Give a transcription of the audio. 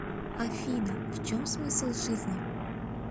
афина в чем смысл жизни